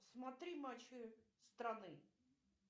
смотри матчи страны